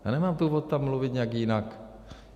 Já nemám důvod tam mluvit nějak jinak.